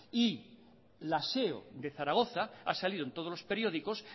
y la seo de zaragoza ha salido en todos los periódicos